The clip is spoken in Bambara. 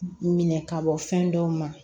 Minɛ ka bɔ fɛn dɔw ma